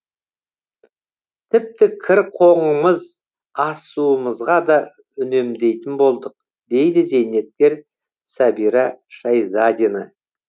тіпті кір қоңымыз ас суымызға да үнемдейтін болдық дейді зейнеткер сәбира шайзадина